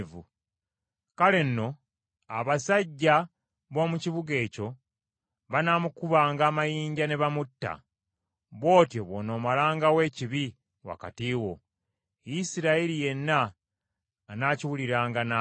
Kale nno abasajja b’omu kibuga ekyo banaamukubanga amayinja ne bamutta. Bw’otyo bw’onoomalangawo ekibi wakati wo. Isirayiri yenna anaakiwuliranga, n’atya.